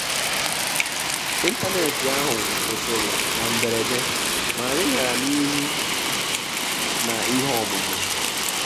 ị́ntánétì áhụ́ kwụ́sị́rị̀ nà mbèrèdè mà ànyị́ gàrà n’írù nà ìhè ọ́mụ́mụ́.